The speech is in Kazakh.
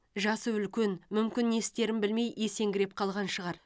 жасы үлкен мүмкін не істерін білмей есеңгіреп қалған шығар